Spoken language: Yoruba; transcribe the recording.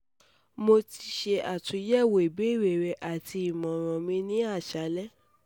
mo ti ṣe atunyẹwo ibeere rẹ ati imọran mi ni isalẹ